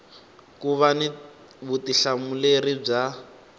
ku va ni vutihlamuleri bya